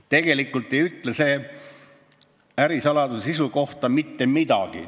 tegelikult ei ütle see ärisaladuse sisu kohta mitte midagi.